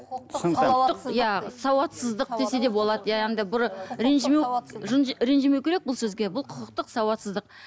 құқықтық иә сауатсыздық десе де болады иә андай бір ренжімеу ренжімеу керек бұл сөзге бұл құқықтық сауатсыздық